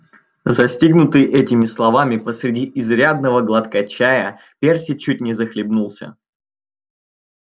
застигнутый этими словами посреди изрядного глотка чая перси чуть не захлебнулся